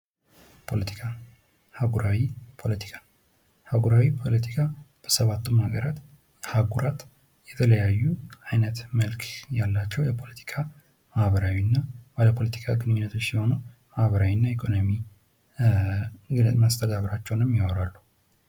ፖለቲካ አህጉራዊ ፖለቲካ ፡-አህጉራዊ ፖለቲካ በሰባቱም አህጉራት የተለያዩ አይነት መልክ ያላቸው የፖለቲካ ማህበራዊና ፖለቲካዊ ግንኙነቶች ሲሆኑ ማህበራዊና ኢኮኖሚ መስተጋብራቸውንም ያወራሉ።